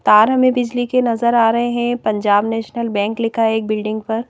तार हमें बिजली के नजर आ रहे हैं पंजाब नेशनल बैंक लिखा है एक बिल्डिंग पर--